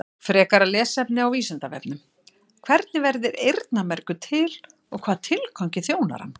Frekara lesefni á Vísindavefnum: Hvernig verður eyrnamergur til og hvaða tilgangi þjónar hann?